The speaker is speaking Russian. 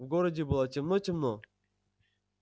в городе было темно-темно